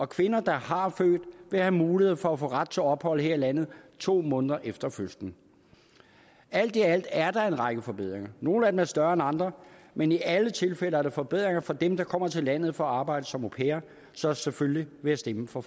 kvinder der har født vil have mulighed for at få ret til ophold her i landet to måneder efter fødslen alt i alt er der en række forbedringer nogle af dem er større end andre men i alle tilfælde er der forbedringer for dem der kommer til landet for at arbejde som au pairer så selvfølgelig vil jeg stemme for